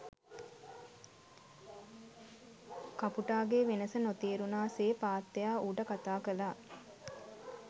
කපුටගෙ වෙනස නොතේරුණා සේ පාත්තයා ඌට කතා කළා.